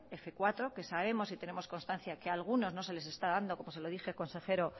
f cuatro que sabemos y tenemos constancia que algunos no se les está dando como se lo dije consejero